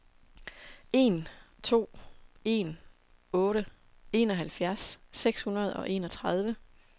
en to en otte enoghalvfjerds seks hundrede og enogtredive